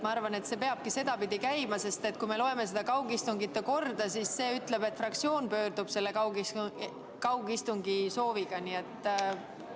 Ma arvan, et see peabki sedapidi käima, sest kui me loeme kaugistungite pidamise korda, siis näeme, et see ütleb, et fraktsioon pöördub kaugistungi sooviga juhatuse poole.